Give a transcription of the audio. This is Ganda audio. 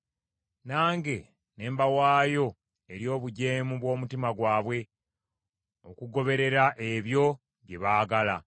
Nange ne mbawaayo eri obujeemu bw’omutima gwabwe, okugoberera ebyo bye baagala.